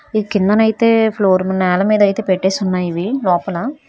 ఈ కిందన అయితే ఫ్లోర్ నేల మీద అయితే పెట్టేసి ఉన్నాయి లోపల.